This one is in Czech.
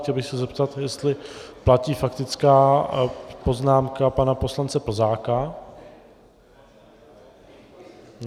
Chtěl bych se zeptat, jestli platí faktická poznámka pana poslance Plzáka?